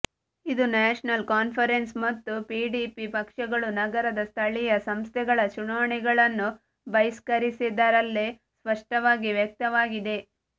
ಇದು ನ್ಯಾಷನಲ್ ಕಾನ್ಫರೆನ್ಸ್ ಮತ್ತು ಪಿಡಿಪಿ ಪಕ್ಷಗಳು ನಗರದ ಸ್ಥಳೀಯ ಸಂಸ್ಥೆಗಳ ಚುನಾವಣೆಗಳನ್ನು ಬಹಿಷ್ಕರಿಸಿದ್ದರಲ್ಲೇ ಸ್ಪಷ್ಟವಾಗಿ ವ್ಯಕ್ತವಾಗಿದೆ